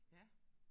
Ja